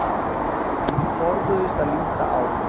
Menn forðuðust að líta á